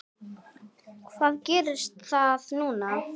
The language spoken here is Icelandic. Hvað gerir það núna?